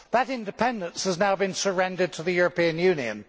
That independence has now been surrendered to the European Union.